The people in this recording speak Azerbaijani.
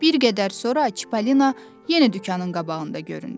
Bir qədər sonra Çipollino yenə dükanın qabağında göründü.